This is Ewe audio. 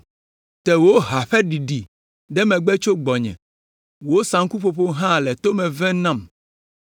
Te wò hawo ƒe ɖiɖi ɖe megbe tso gbɔnye, wò saŋkuƒoƒowo hã le to me vem nam!